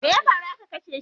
Me ya faru aka kashe shi?